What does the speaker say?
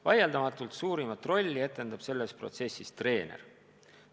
Vaieldamatult suurimat rolli etendab selles protsessis treener.